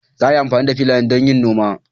Za a yi amfani da filayen don yin noma.